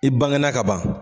I bangenan kaban.